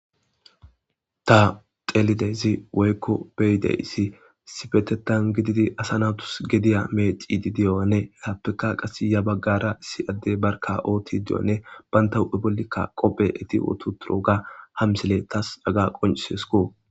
Ta xelidezi woykko beyidey issi sibetetan gididi asa nawutus gediya meeci di diyoane tappekka qas ya baggara issi adde barka ooti di'onne bantahu ebollikka qophe eti wotu turo ga ham sile tas aga qoncisesko.